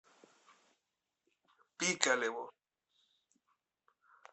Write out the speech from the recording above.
пикалево